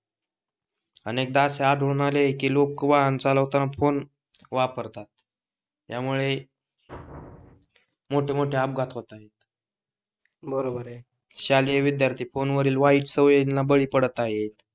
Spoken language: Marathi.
आढळून आले आहे कि, लोक वाहण चालवताना फोन वापरतात. त्यामुळे , मोठे मोठे अपघात होत आहेत बरोबर आहे. शालेय विध्यार्थी फोन वरील वाईट सवयी ना बळी पडत आहेत.